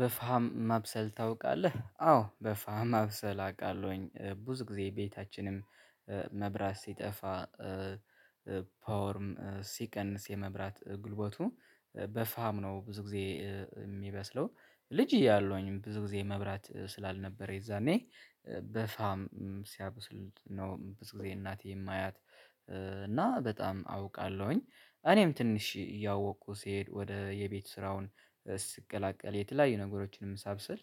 በፈሀም ማብሰል ታውቃለህ? አዎ በፈሀም ማብሰል አቃለሁኝብዙ ጊዜ ቤታችንም መብራት ሲጠፋ። ፓወርም ሲቀንስ የመብራት ጉልበቱ በፈሀም ነው ብዙ ጊዜ የሚበስለው ልጅ እያለሁኝ ብዙ ጊዜ መብራት ስላልነበረ የዛኔ። በፈሀም ሲያበስል ነው ብዙ ጊዜ እናቴ ማያት። እና በጣም አውቃለሁኝ እኔም ትንሽ እያወቁ ሲሄድ ወደ የቤት ስራውን ስቀላቀል የተለያዩ ነገሮችንም ሳብሰል።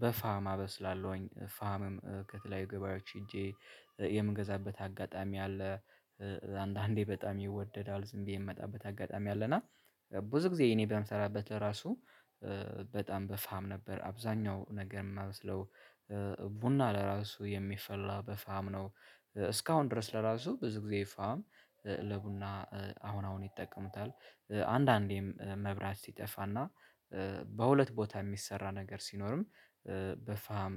በፈሀም አበስላለሁኝ ፈሀምም ከተለያዩ ገበያዎች ሄጀ የምገዛበት አጋጣሚ አለአንዳንዴ በጣም ይወደዳል ዝምብየ የምመጣበት አጋጣሚ አለና። ብዙ ጊዜ እኔም በምሰራበት ለራሱ በጣም በፈሀም ነበር አብዛኛው ነገር እማበስለው። ቡና ለራሱ የሚፈላ በፈሀም ነው። እስካሁን ድርስ ለራሱ ብዙ ጊዜ ፈሀም ለቡና አሁን አሁንይጠቀሙታል አንዳንዴም መብራት ሲጠፋና በሁለት ቦታ ሚሰራ ነገር ሲኖርም በፈሀም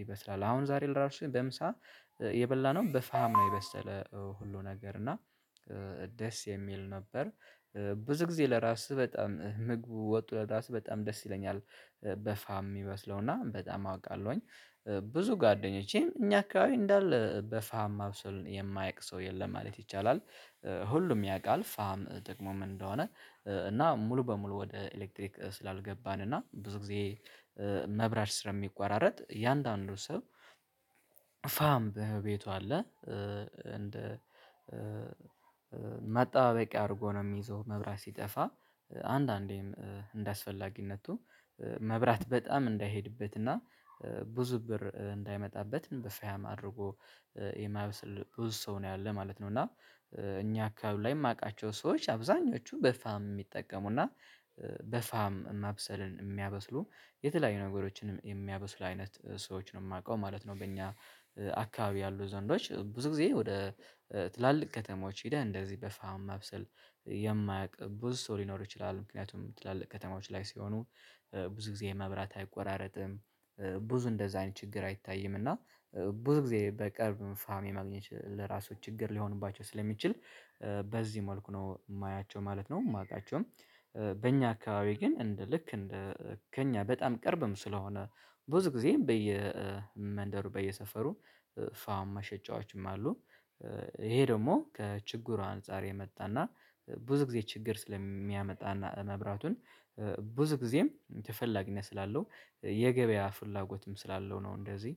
ይበስላል። አሁን ዛሬ ለራሱ በምሳ የበላነው በፈሀም ነው የበሰል ሁሉ ነገርና ደስ የሚል ነበር። ብዙ ጊዜ ለራስህ በጣም ምግቡ ወጡ ለራሱ በጣም ደስ ይለኛል በፈሀም ሚበስለውና በጣም አውቃለውኝ። ብዙ ጓደኞቸም እኛ አካባቢ እንዳለ በፈሀም ማብሰል የማያቅ ሰው የለም ማለት ይቻላል። ሁሉም ያቃል ፈሀም ጥቅሙ ምን እንደሆነ? እና ሙሉ በሙሉ ወደ ኤሌክትሪክ ስላልገባንና ብዙ ጊዜ መብራት ስለ ሚቆራረጥ እያንዳንዱ ሰው ፈሀም በቤቱ አለ። እንደ መጣ በቂ አድርጎ ነው የሚዘው መብራት ሲጠፋ አንዳንዴም እንዳስፈላጊነቱ መብራት በጣም እንዳይሄድበትና ብዙ ብር እንዳይመጣበት በፈሀም አድርጎ የማበስል ብዙ ሰው ነው ያለ ማለት ነውና። እኛ አካባቢ ላይ ማቃቸው ሰዎች አብዛኛሀኞቹ በፋሃም ሚጠቀሙና በፈሀም ማብሰልን የሚያበስሉ የተለያዩ ነገሮችን የሚያበስል አይነት ሰዎች ነው ማቀው ማለት ነው። በኛ አካባቢ ያሉ ዘንዶች ብዙ ጊዜ ወደ ትላልቅ ከተሞች ሄደህ እንደዚህ በፈሀም ማብሰል የማያቅ ብዙ ሰው ሊኖር ይችላል ምክንያትም ትላልቅ ከተሞች ላይ ሲሆኑ ብዙ ጊዜ መብራት አይቆራረጥም። ብዙ እንደዛን ችግር አይታየምና ብዙ ጊዜ በቅርብም ፋም የማግኘት ለራሱ ችግር ሊሆንባቸው ስለሚችል በዚህ መልኩ ነው ማያቸው ማለት ነው ማቃቸውም። በኛ አካባቢ ግን እንደ ልክ እንደ ከኛ በጣም ቅርብም ስለሆነ ብዙ ጊዜ በየመንደሩ በየሰፈሩ ፈሀም መሸጫዎችም አሉ። ይሄ ደግሞ ከችግሩ አንፃር የመጣና ብዙ ጊዜ ችግር ስለሚያመጣና መብራቱን ብዙ ጊዜም ተፈላጊነት ስላለው የገበያ ፍላጎትም ስላለው ነው። እንደዚህ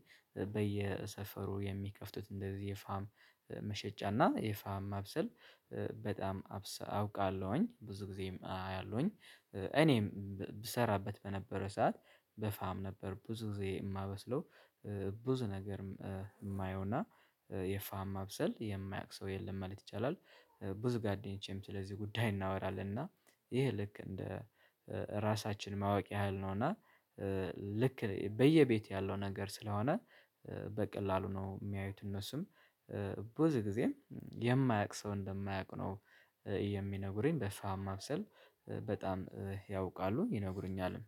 በየሰፈሩ የሚከፍቱት እንደዚህ የፈሀም መሸጫና የፈሀም ማብሰል በጣም አውቃለሁኝ ብዙ ጊዜም አያለሁኝ። እኔም ብሰራበት በነበረ ሰዓት በፈሀም ነበር ብዙ ጊዜ እማበስለው። ብዙ ነገር ማየውና የፈሀም ማብሰል የማያቅ ሰው የለም ማለት ይቻላል። ብዙ ጓደኞቸም ስለዚህ ጉዳይ እናወራለንና ይሄ ልክ እንደ ራሳችን ማወቅ ያህል ነውና። ልክ በየቤት ያለው ነገር ስለሆነ በቀላሉ ነው የሚያዩት እነሱም ብዙ ጊዜም የማያቅ ሰው እንደማያቅ ነው። የሚነግሩኝ በፈሀም ማብሰል በጣም ያውቃሉ ይነግሩኛልም